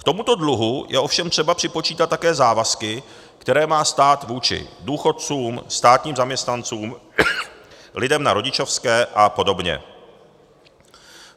K tomuto dluhu je ovšem třeba připočítat také závazky, které má stát vůči důchodcům, státním zaměstnancům, lidem na rodičovské a podobně.